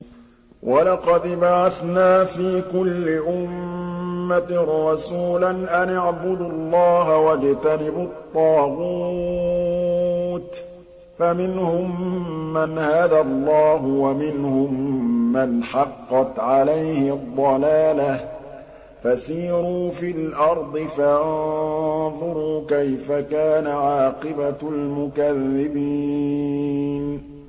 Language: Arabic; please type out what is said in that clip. وَلَقَدْ بَعَثْنَا فِي كُلِّ أُمَّةٍ رَّسُولًا أَنِ اعْبُدُوا اللَّهَ وَاجْتَنِبُوا الطَّاغُوتَ ۖ فَمِنْهُم مَّنْ هَدَى اللَّهُ وَمِنْهُم مَّنْ حَقَّتْ عَلَيْهِ الضَّلَالَةُ ۚ فَسِيرُوا فِي الْأَرْضِ فَانظُرُوا كَيْفَ كَانَ عَاقِبَةُ الْمُكَذِّبِينَ